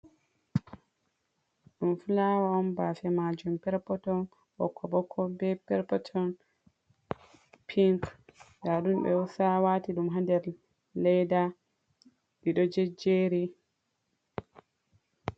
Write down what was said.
Ɗum fulawa on bafe majum perpeton ɓokko ɓokko be perpeton pinc nda ɗum be husa wati ɗum ha nder ledda ɗiɗo jejjeri.